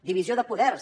divisió de poders